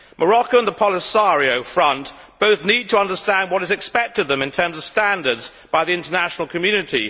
Morocco and the Polisario Front both need to understand what is expected of them in terms of standards by the international community.